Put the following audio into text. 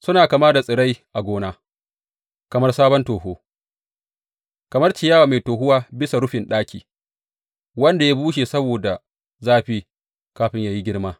Suna kama da tsirai a gona, kamar sabon toho kamar ciyawa mai tohuwa bisa rufin ɗaki wanda ya bushe saboda zafi, kafin yă yi girma.